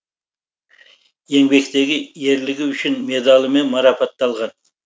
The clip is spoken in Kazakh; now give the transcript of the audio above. еңбектегі ерлігі үшін медалымен марапатталған